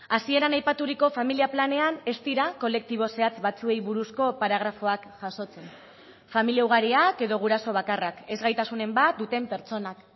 hasieran aipaturiko familia planean ez dira kolektibo zehatz batzuei buruzko paragrafoak jasotzen familia ugariak edo guraso bakarrak ezgaitasunen bat duten pertsonak